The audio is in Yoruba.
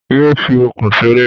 Yé fi ọ̀kùn ṣeré.